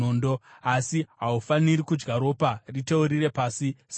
Asi haufaniri kudya ropa; riteurire pasi semvura.